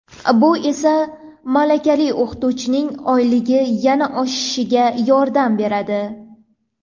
Bu esa malakali o‘qituvchining oyligi yana oshishiga yordam beradi.